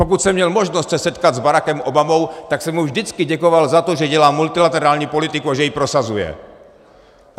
Pokud jsem měl možnost se setkat s Barackem Obamou, tak jsem mu vždycky děkoval za to, že dělá multilaterální politiku a že ji prosazuje.